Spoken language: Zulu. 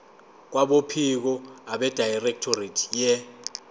kwabophiko abedirectorate ye